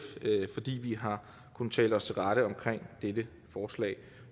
fordi vi har kunnet tale os til rette om dette forslag